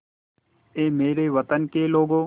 ऐ मेरे वतन के लोगों